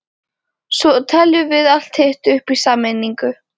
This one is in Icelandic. Svo teljum við allt hitt upp í sameiningu.